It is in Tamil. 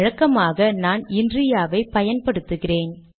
வழக்கமாக நான் இன்ரியா வை பயன்படுத்துகிறேன்